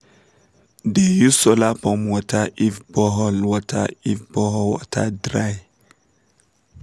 de use solar pump water if borehole water if borehole dry